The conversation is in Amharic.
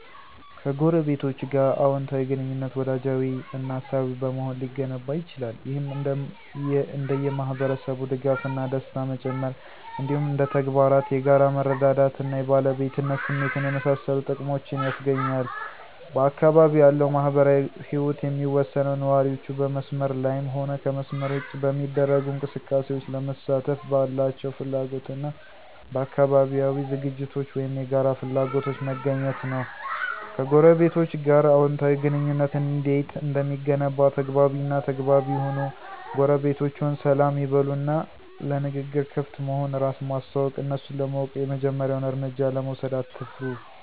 ከጎረቤቶች ጋር አወንታዊ ግንኙነት፣ ወዳጃዊ እና አሳቢ በመሆን ሊገነባ ይችላል። ይህም እንደ የማህበረሰብ ድጋፍ እና ደስታ መጨመር፣ እንዲሁም እንደ ተግባራት የጋራ መረዳዳት እና የባለቤትነት ስሜትን የመሳሰሉ ጥቅሞችን ያስገኛል። በአካባቢው ያለው ማህበራዊ ህይወት የሚወሰነው ነዋሪዎቹ በመስመር ላይም ሆነ ከመስመር ውጭ በሚደረጉ እንቅስቃሴዎች ለመሳተፍ ባላቸው ፍላጎት እና በአካባቢያዊ ዝግጅቶች ወይም የጋራ ፍላጎቶች መገኘት ነው። ከጎረቤቶቸ ጋር አዎንታዊ ግንኙነት እንዴት እንደሚገነባ ተግባቢ እና ተግባቢ ይሁኑ ጎረቤቶችዎን ሰላም ይበሉ እና ለንግግር ክፍት መሆን፣ እራስን ማስተዋወቅ፣ እነሱን ለማወቅ የመጀመሪያውን እርምጃ ለመውሰድ አትፍሩ።